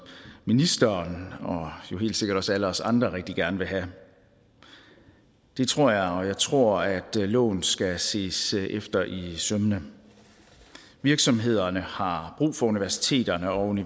ministeren og jo helt sikkert også alle os andre rigtig gerne vil have det tror jeg og jeg tror at loven skal ses efter i sømmene virksomhederne har brug for universiteterne og